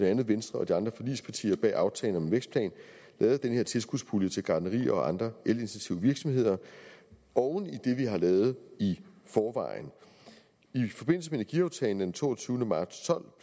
andet venstre og de andre forligspartier bag aftalen om en vækstplan lavet den her tilskudspulje til gartnerier og andre elintensive virksomheder oven i det vi har lavet i forvejen i forbindelse med energiaftalen den toogtyvende marts to